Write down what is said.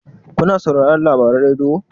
kuna sauraron labaran rediyo?